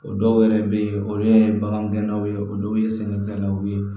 O dɔw yɛrɛ bɛ yen olu ye bagangɛnw ye o dɔw ye sɛgɛn gɛnnaw ye